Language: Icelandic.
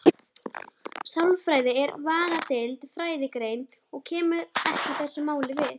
Sálarfræði er veraldleg fræðigrein og kemur ekki þessu máli við.